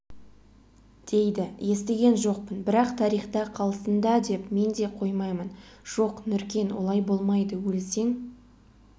дейді естіген жоқпын бірақ тарихта қалсын да деп мен де қоймаймын жоқ нұркен олай болмайды өлсең